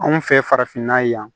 Anw fɛ farafinna yan